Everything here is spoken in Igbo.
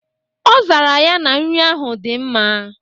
Ọ zara ya na nri ahụ dị mma.